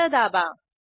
enter दाबा